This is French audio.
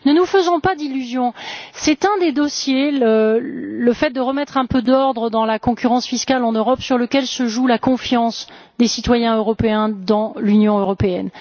Ne nous faisons pas d'illusions, c'est un des dossiers le fait de remettre un peu d'ordre dans la concurrence fiscale en Europe sur lesquels se joue la confiance des citoyens européens dans l'Union européenne.